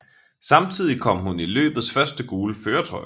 Samtidig kom hun i løbets første gule førertrøje